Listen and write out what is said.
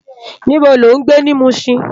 Nibó ló n gbé ni Mushin?